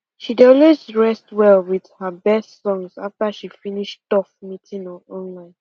she dey always rest well with her best songs after she finish tough meeting online